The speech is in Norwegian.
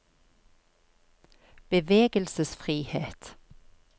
bevegelsesfrihet